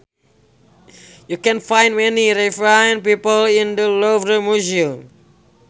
You can find many refined people in the Louvre museum